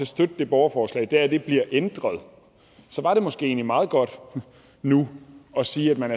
støtte det borgerforslag er at det bliver ændret så var det måske egentlig meget godt nu at sige at man